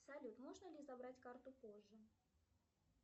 салют можно ли забрать карту позже